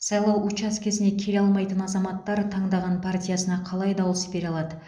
сайлау учаскесіне келе алмайтын азаматтар таңдаған партиясына қалай дауыс бере алады